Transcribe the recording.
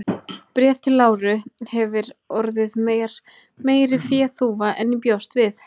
Bréf til Láru hefir orðið mér meiri féþúfa en ég bjóst við.